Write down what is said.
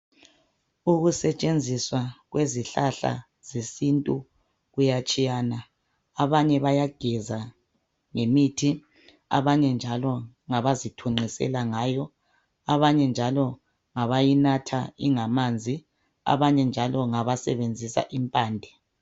Ukusetshenziswa kwezihlahla zesintu kuyatshiyana abanye bayageza ngezihlahla, abanye ngabazithunqiselayo ngayo, abanye ngabayinatha ingamanzi, abanye ngabasebenzisa impande.